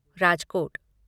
Rajkot